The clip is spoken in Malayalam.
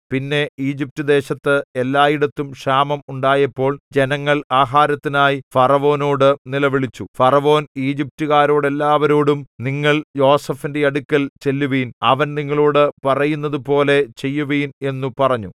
പിന്നെ ഈജിപ്റ്റുദേശത്ത് എല്ലായിടത്തും ക്ഷാമം ഉണ്ടായപ്പോൾ ജനങ്ങൾ ആഹാരത്തിനായി ഫറവോനോട് നിലവിളിച്ചു ഫറവോൻ ഈജിപ്റ്റുകാരോടെല്ലാവരോടും നിങ്ങൾ യോസേഫിന്റെ അടുക്കൽ ചെല്ലുവിൻ അവൻ നിങ്ങളോടു പറയുന്നതുപോലെ ചെയ്യുവിൻ എന്നു പറഞ്ഞു